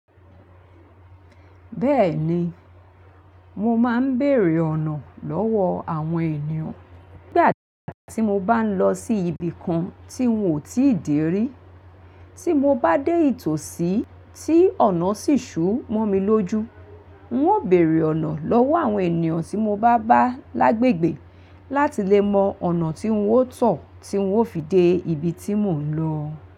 Bẹ́ẹ̀ni, mo máa ń bèèrè ọ̀nà lọ́wọ́ àwọn ènìyàn nígbà tí mo bá ń lọ sí ibi kan tí ń ò tíì dè rí. Tí mo bá dé ìtòsí tí ọ̀nà sì ṣú mọ́ mi lójú, ń ó bèèrè ọ̀nà lọ́wọ́ àwọn ènìyàn tí mo bá bá lágbègbè láti lè mọ ọ̀nà tí ń ó tọ̀ tí ń ó fi dé ibi tí mò ń lọ.